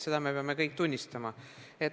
Seda peame me kõik tunnistama.